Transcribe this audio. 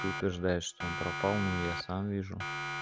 ты утверждаешь что он пропал но я сам вижу